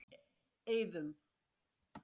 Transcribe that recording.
Eiðum